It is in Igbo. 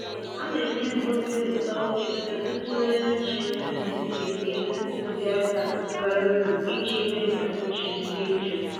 Ọ na enye m obi ụtọ etu ntụgharị uche nduzi si enye ntụziaka bara uru iji mee ka uche m dị jụụ.